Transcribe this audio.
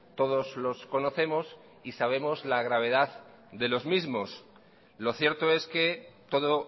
todos los conocemos y sabemos la gravedad de los mismos lo cierto es que todo